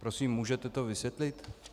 Prosím, můžete to vysvětlit?